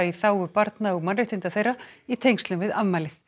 þágu barna og mannréttinda þeirra í tengslum við afmælið